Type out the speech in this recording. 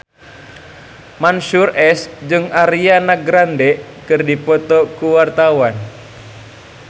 Mansyur S jeung Ariana Grande keur dipoto ku wartawan